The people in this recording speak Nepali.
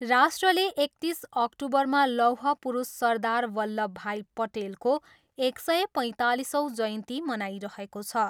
राष्ट्रले एकतिस अक्टुबरमा लौह पुरूष सरदार वल्लभभाइ पटेलको एक सय पैँतालिसौँ जयन्ती मनाइरहेको छ।